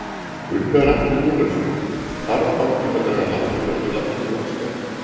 Gunnar Atli Gunnarsson: Þarf bankinn að draga lappirnar við lækkun vaxta?